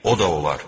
O da olar.